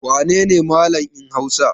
Wane ne Mallam in Hausa?